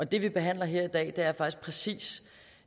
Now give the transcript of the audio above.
det vi behandler her i dag er faktisk præcis